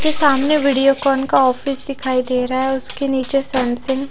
सामने वीडियोकॉन का ऑफिस दिखाई दे रहा है उसके नीचे सैमसंग --